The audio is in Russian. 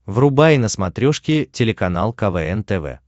врубай на смотрешке телеканал квн тв